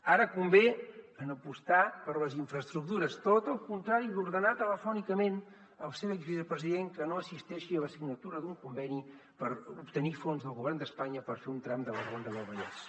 ara convé apostar per les infraestructures tot el contrari d’ordenar telefònicament al seu exvicepresident que no assisteixi a la signatura d’un conveni per obtenir fons del govern d’espanya per fer un tram de la ronda del vallès